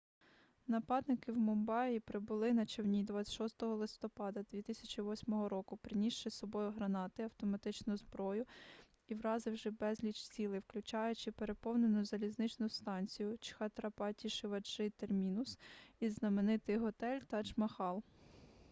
нападники в мумбаї прибули на човні 26 листопада 2008 року принісши з собою гранати автоматичну зброю і вразивши безліч цілей включаючи переповнену залізничну станцію чхатрапаті-шиваджи термінус і знаменитий готель тадж-махал